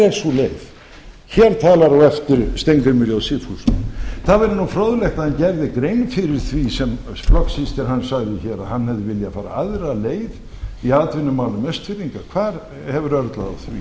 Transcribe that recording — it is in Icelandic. er sú leið hér talar á eftir steingrímur j sigfússon það væri nú fróðlegt að hann gerði grein fyrir því sem flokkssystir hans sagði hér að hann hefði viljað fara aðra leið í atvinnumálum austfirðinga hvar hefur örlað